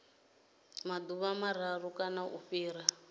maḓuvha mararu kana u fhira